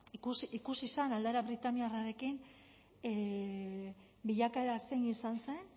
ikusi zen aldera britainiarrarekin bilakaera zein izan zen